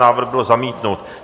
Návrh byl zamítnut.